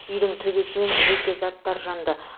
үйдің төбесі мен жеке заттар жанды